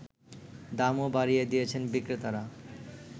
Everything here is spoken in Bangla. দামও বাড়িয়ে দিয়েছেন বিক্রেতারা